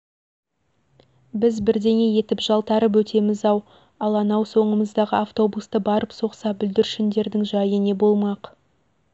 біз бірдеңе етіп жалтарып өтеміз-ау ал анау соңымыздағы автобусты барып соқса бүлдіршіндердің жайы не болмақ